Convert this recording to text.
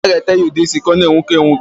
A ga-ete ya udeisi ka ọ na-enwuke enwuke.